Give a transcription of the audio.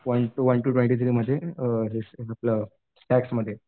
one two ट्वेन्टीमध्ये आपलं टॅक्समध्ये